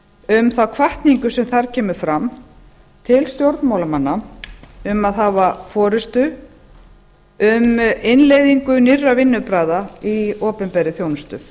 um þá hvatningu sem þar kemur fram til stjórnmálamanna um að hafa forustu um innleiðingu nýrra vinnubragða í opinberri þjónustu